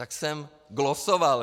Tak jsem glosoval.